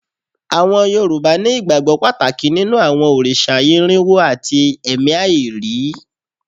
Àwọn Yorùbá ní ìgbàgbọ́ Pàtàkì nínú àwọn òrìṣà irínwo àti ẹ̀mí àìrí